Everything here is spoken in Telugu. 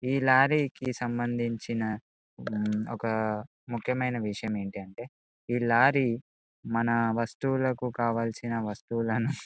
ఈ లారీ కీ సంభందిచిన ఓక ముఖ్యమైన విషయం ఏమిటి అంటే ఈ లారీ మన వస్తువులకు కావలసిన వస్తువులను --